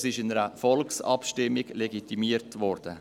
Das ist mit einer Volksabstimmung legitimiert worden.